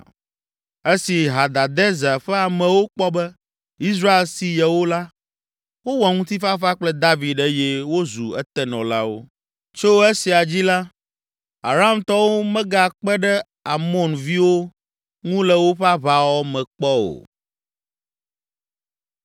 Esi Hadadezer ƒe amewo kpɔ be Israel si yewo la, wowɔ ŋutifafa kple David eye wozu etenɔlawo. Tso esia dzi la, Aramtɔwo megakpe ɖe Amonviwo ŋu le woƒe aʋawɔwɔ me kpɔ o.